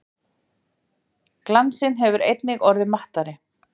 Glansinn hefur einnig orðið mattari.